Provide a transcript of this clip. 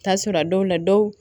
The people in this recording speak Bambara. Taa sɔrɔ a dɔw la dɔw